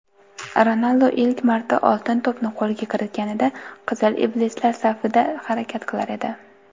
Ronaldu ilk marta "Oltin to‘p"ni qo‘lga kiritganida "Qizil iblislar" safida harakat qilar edi.